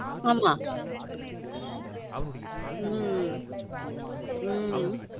ஆம உம் உம்